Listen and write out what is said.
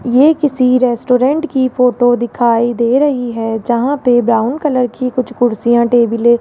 ये किसी रेस्टोरेंट की फोटो दिखाई दे रही है जहां पे ब्राउन कलर की कुछ कुर्सियां टेबलें --